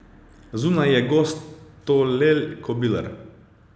Zunaj je gostolel kobilar.